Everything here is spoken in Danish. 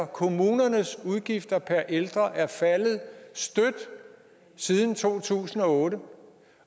kommunernes udgifter per ældre er faldet støt siden to tusind og otte